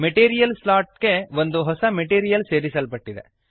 material slot ಗೆ ಒಂದು ಹೊಸ ಮೆಟೀರಿಯಲ್ ಸೇರಿಸಲ್ಪಟ್ಟಿದೆ